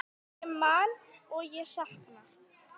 Ég man og ég sakna.